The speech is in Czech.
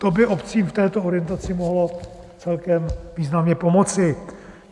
To by obcím v této orientaci mohlo celkem významně pomoci.